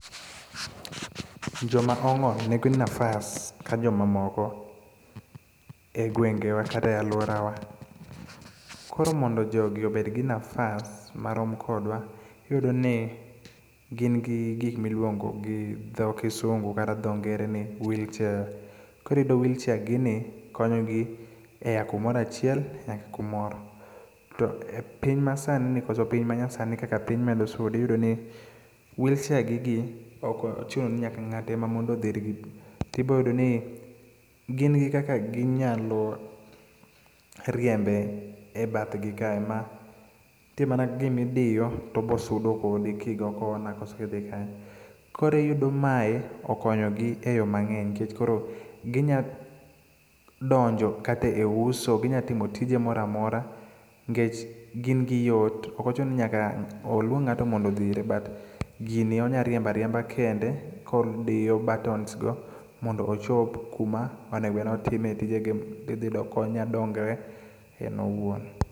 Joma ong'ol nigi nafas ka joma moko e gwenge wa kata e alwora wa. Koro mondo jogi obed gi nafas marom kodwa, iyudo ni gin gi gik miluongo gi dho kisungu kata dho ngere ni wheel chair. Koro iyudo wheel chair gi ni konyo gi e ya kumoro achiel nyaka kumoro. To e piny masani ni, koso piny manyasani kaka piny medo sudo iyudo ni wheel chair gi gi ok ochuno ni ng'ato e ma mondo odhir gi. Tibo yudo ni gin gi kaka ginyalo riembe e bathgi kae, ma nitie mana gima idiyo tobosudo kodi kigo corner koso idhi kanyo. Koro iyudo mae okonyo gi e yo mang'eny nikech koro ginya donjo kata e uso, ginyatimo tije moramora nikech gin gi yot. Ok ochuno ni nyaka oluong ng'ato mondo odhire, but gini onyariembo ariemba kende kodiyo buttons go mondo ochop kuma onego bed ni otime tije ge. Idhi yudo konya dongre en owuon.